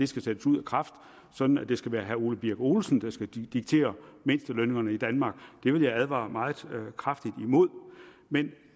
skal sættes ud af kraft sådan at det skal være herre ole birk olesen der skal diktere mindstelønningerne i danmark det vil jeg advare meget kraftigt imod men